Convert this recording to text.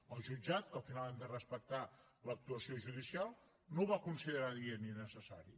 el jutjat que al final hem de respectar l’actuació judicial no ho va considerar adient ni necessari